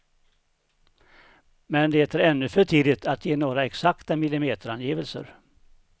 Men det är ännu för tidigt att ge några exakta millimeterangivelser.